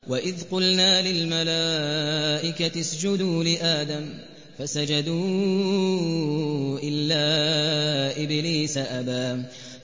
وَإِذْ قُلْنَا لِلْمَلَائِكَةِ اسْجُدُوا لِآدَمَ فَسَجَدُوا إِلَّا إِبْلِيسَ أَبَىٰ